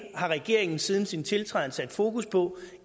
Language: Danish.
har regeringen siden sin tiltrædelse sat fokus på